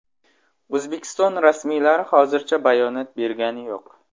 O‘zbekiston rasmiylari hozircha bayonot bergani yo‘q.